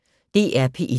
DR P1